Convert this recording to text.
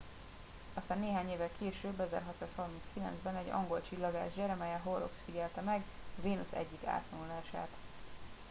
aztán néhány évvel később 1639 ben egy angol csillagász jeremiah horrocks figyelte meg a vénusz egyik átvonulását